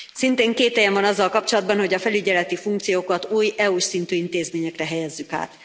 Szintén kételyem van azzal kapcsolatban, hogy a felügyeleti funkciókat új EU s szintű intézményekre helyezzük át.